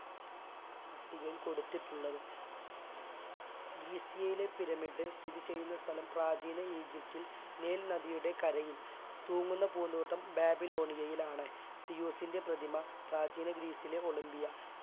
പട്ടികയിൽ കൊടുത്തിട്ടുള്ളത് ഗിസസിയയിലെ പിരമിഡ് സ്ഥിതി ചെയ്യുന്ന സ്ഥലം പ്രാചീന ഈജിപ്തിൽ നൈൽ നദിയുടെ കരയിൽ തൂങ്ങുന്ന പൂന്തോട്ടം ബാബിലോണിയയിലാണ് സീയൂസിൻറ്റെ പ്രതിമ പ്രാചീന ഗ്രീസിലെ ഒളിമ്പിയ